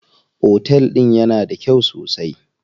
Otel din yana da kyau sosai.